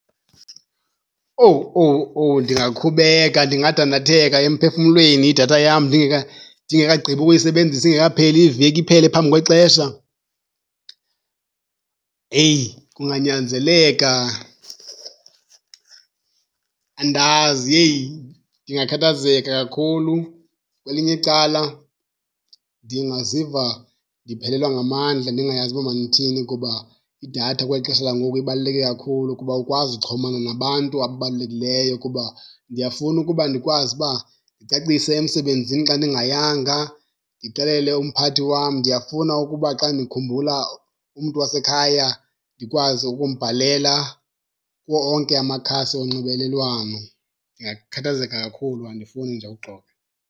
Owu, owu, owu, ndingakhubeka! Ndingadandatheka emphefumlweni idatha yam ndingekagqibi ukuyisebenzisa ingekapheli iveki, iphele phambi kwexesha. Eyi, kunganyanzeleka andazi. Heyi, ndingakhathazeka kakhulu! Kwelinye icala ndingaziva ndiphelelwa ngamandla ndingayazi uba mandithini kuba idatha kweli xesha langoku ibaluleke kakhulu kuba awukwazi uxhumana nabantu ababalulekileyo kuba ndiyafuna ukuba ndikwazi uba ndicacise emsebenzini xa ndingayanga, ndixelele umphathi wam. Ndiyafuna ukuba xa ndikhumbula umntu wasekhaya ndikwazi ukumbhalela kuwo onke amakhasi onxibelelwano. Ndingakhathazeka kakhulu, andifuni nje ukuxoka.